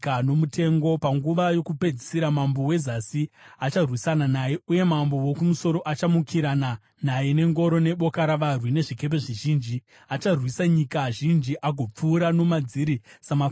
“Panguva yokupedzisira mambo weZasi acharwisana naye, uye mambo woKumusoro achamukirana naye nengoro neboka ravarwi nezvikepe zvizhinji. Acharwisa nyika zhinji agopfuura nomadziri samafashamu emvura.